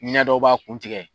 Ɲɛ dɔ b'a kuntigɛ